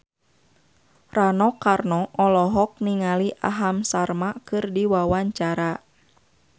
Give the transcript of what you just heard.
Rano Karno olohok ningali Aham Sharma keur diwawancara